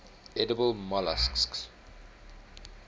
edible molluscs